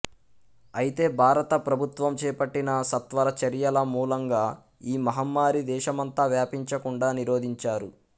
అయితే భారత ప్రభుత్వం చేపట్టిన సత్వర చర్యల మూలంగా ఈ మహమ్మారి దేశమంతా వ్యాపించకుండా నిరోధించారు